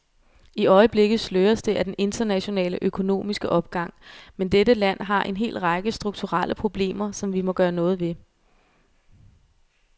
I øjeblikket sløres det af den internationale økonomiske opgang, men dette land har en hel række strukturelle problemer, som vi må gøre noget ved.